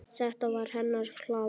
Þetta var hennar hlaða.